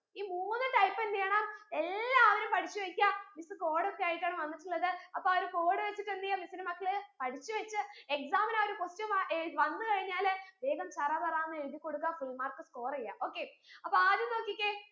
ഈ മൂന്ന് type എന്ത് ചെയ്യണം എല്ലാവരും പഠിച്ചു വെക്ക miss code ഒക്കെ ആയിട്ടാണ് വന്നിട്ടുള്ളത് അപ്പൊ ആ ഒരു code വെച്ചിട്ട് എന്തെയാം miss ന്റെ മക്കൾ പഠിച്ചു വെച്ച് exam ന് ആ ഒരു question വാ ഏർ വന്നു കഴിഞ്ഞാൾ വേഗം ചറപറാന്ന് എഴുതിക്കൊടുക്ക full mark score എയ്യാ okay അപ്പൊ ആദ്യം നോക്കിക്കേ